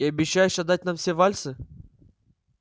и обещаешь отдать нам все вальсы